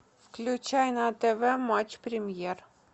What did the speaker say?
включай на тв матч премьер